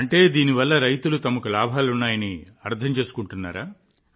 అంటే దీనివల్ల రైతులు తమకు లాభాలు ఉన్నాయని అర్థం చేసుకున్నారా